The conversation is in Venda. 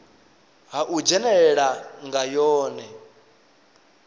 ha u dzhenelela nga yone